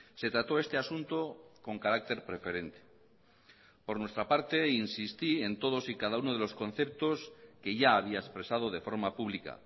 se trató este asunto con carácter preferente por nuestra parte insistí en todos y cada uno de los conceptos que ya había expresado de forma pública